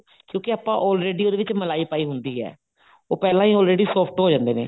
ਕਿਉਂਕਿ ਆਪਾਂ already ਉਹਦੇ ਵਿੱਚ ਮਲਾਈ ਪਾਈ ਹੁੰਦੀ ਹੈ ਉਹ ਪਹਿਲਾਂ ਹੀ already soft ਹੋ ਜਾਂਦੇ ਨੇ